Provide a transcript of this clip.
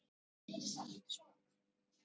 Um hann sjálfan.